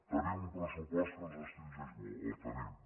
tenim un pressupost que ens restringeix molt el tenim